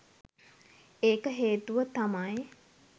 ඒක හේතුව තමයි